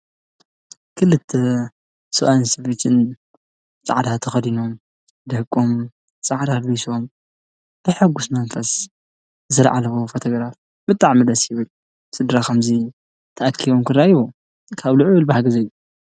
ክልተ ሰብኣይን ሰበይቲን ፃዕዳ ተከዲኖም። ደቆም ፃዕዳ አልቢሶም ብሕጉስ መንፈስ ዝተልዓልዎ ፎቶ ግራፍ ብጣዕሚ ደስ ይብል። ስድራ ከምዚ ተኣኪቦም ክርኣዩ ካብ ልዑል ባህጊ ዝህብ እዩ።